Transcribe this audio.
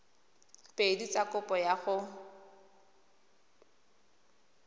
pedi tsa kopo ya go